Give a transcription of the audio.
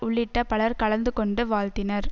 உள்ளிட்ட பலர் கலந்துகொண்டு வாழ்த்தினர்